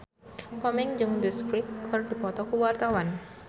Komeng jeung The Script keur dipoto ku wartawan